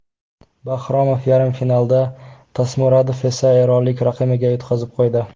Bahromov yarim finalda, Tasmuradov esa eronlik raqibiga yutqazib qo‘ydi.